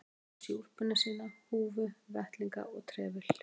Hann klæddi sig í úlpuna sína, húfu, vettlinga og trefil.